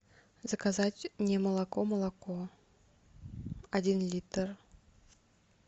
заказать немолоко молоко один литр